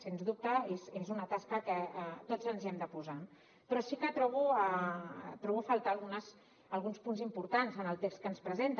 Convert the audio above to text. sens dubte és una tasca que tots ens hi hem de posar però sí que trobo a faltar alguns punts importants en el text que ens presenten